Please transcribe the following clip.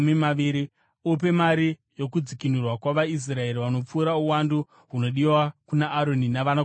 Upe mari yokudzikinurwa kwavaIsraeri vanopfuura uwandu hunodiwa kuna Aroni navanakomana vake.”